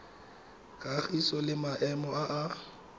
kagiso le maemo a a